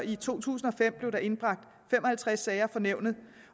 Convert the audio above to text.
i to tusind og fem blev indbragt fem og halvtreds sager for nævnet